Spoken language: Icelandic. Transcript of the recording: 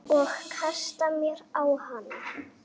Og kasta mér á hana.